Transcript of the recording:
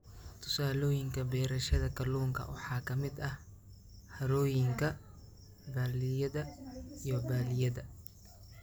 Tusaalooyinka beerashada kalluunka waxaa ka mid ah harooyinka, balliyada, iyo balliyada.